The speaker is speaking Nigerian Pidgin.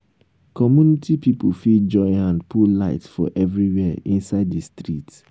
community pipo fit join hand put light for everywhere inside di street